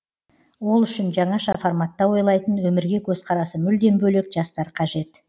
ол үшін жаңаша форматта ойлайтын өмірге көзқарасы мүлдем бөлек жастар қажет